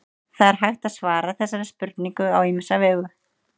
það er hægt að svara þessari spurningu á ýmsa vegu